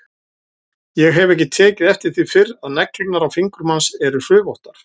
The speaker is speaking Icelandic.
Ég hef ekki tekið eftir því fyrr að neglurnar á fingrum hans eru hrufóttar.